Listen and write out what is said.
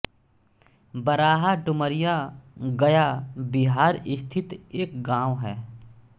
बराहा डुमरिया गया बिहार स्थित एक गाँव है